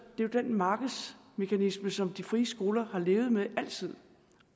jo den markedsmekanisme som de frie skoler har levet med altid